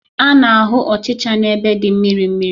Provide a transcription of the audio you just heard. A na-ahụ ọchịchara n'ebe dị mmiri mmiri.